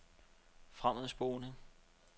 fremadspoling